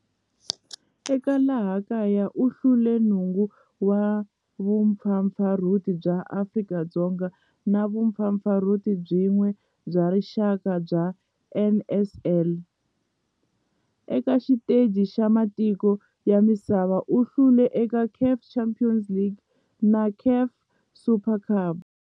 Eka laha kaya u hlule 9 wa vumpfampfarhuti bya Afrika-Dzonga na vumpfampfarhuti byin'we bya rixaka bya NSL. Eka xiteji xa matiko ya misava, u hlule eka CAF Champions League na CAF Super Cup.